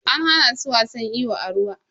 An hana su wasan iyo a ruwa.